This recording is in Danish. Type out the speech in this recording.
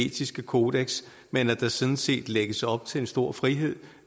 etiske kodeks men at der sådan set lægges op til en stor frihed